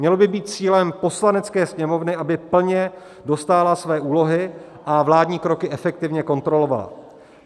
Mělo by být cílem Poslanecké sněmovny, aby plně dostála své úlohy a vládní kroky efektivně kontrolovala.